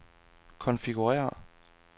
konfigurér